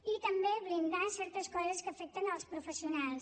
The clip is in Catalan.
i també blindar certes coses que afecten els professionals